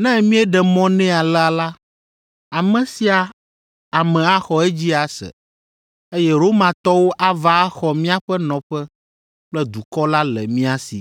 Ne míeɖe mɔ nɛ alea la, ame sia ame axɔ edzi ase, eye Romatɔwo ava axɔ míaƒe nɔƒe kple dukɔ la le mía si.”